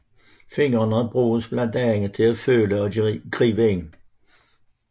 Fingrene bruges blandt andet til at føle og gribe med